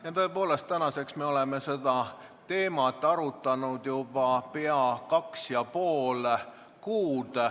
Jaa, tõepoolest, tänaseks me oleme seda teemat arutanud juba pea kaks ja pool kuud.